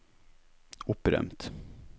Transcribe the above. opprømt